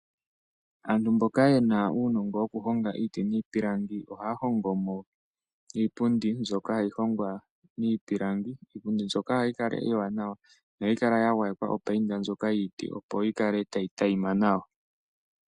Aantu mboka yena uunongo woku honga iiti niipilangi ohaya hongo mo iipundi mbyoka hayi hongwa miipilangi, iipundi mbyoka ohayi kala iiwanawa nohayi kala ya gwayekwa opainda ndjoka yiiti opo yi kale tayi tayima nawa.